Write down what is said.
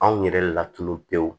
Anw yɛrɛ latunun pewu